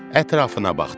Ətrafına baxdı.